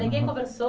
ninguém conversou?